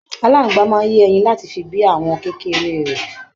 Aláàngbá máa n yẹ ẹyìn láti fi bí àwọn kékeré rẹ.